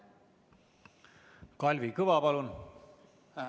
Kalvi Kõva, palun!